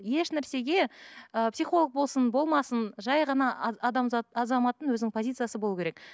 еш нәрсеге ыыы психолог болсын болмасын жай ғана адамзат азаматтың өзінің позициясы болу керек